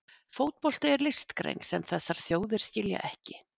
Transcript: Fótbolti er listgrein sem þessar þjóðir skilja ekki.